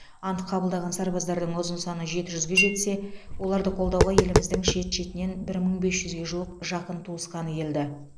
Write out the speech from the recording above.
ант қабылдаған сарбаздардың ұзын саны жеті жүзге жетсе оларды қолдауға еліміздің шет шетінен бір мың бес жүзге жуық жақын туысқаны келді